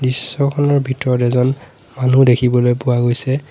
দৃশ্যখনৰ ভিতৰত এজন মানুহ দেখিবলৈ পোৱা গৈছে।